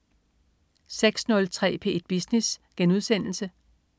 06.03 P1 Business*